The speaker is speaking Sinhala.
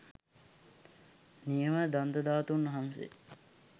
නියම දන්තධාතූන් වහන්සේ